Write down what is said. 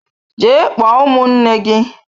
Jee kpọọ ụmụnne gi!